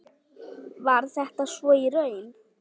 Var þetta svo í raun?